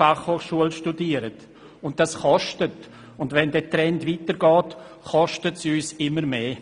Dies kostet uns etwas, und wenn der Trend weitergeht, kostet uns das immer mehr.